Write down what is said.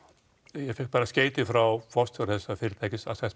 ég fékk skeyti frá forstjóra þessa fyrirtækis